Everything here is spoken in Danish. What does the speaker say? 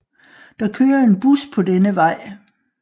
Der kører en bus på denne vej